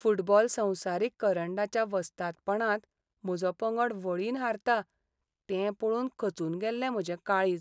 Football संवसारीक करंडाच्या वस्तादपणांत म्हजो पंगड वळीन हारता तें पळोवन खचून गेल्लें म्हजें काळीज.